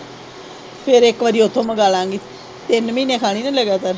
ਫਿਰ ਇੱਕ ਵਾਰੀ ਉੱਥੋਂ ਮੰਗਲਾਗੇ ਤਿੰਨ ਮਹੀਨੇ ਖਾਣੀ ਨਾ ਲਗਾਤਾਰ।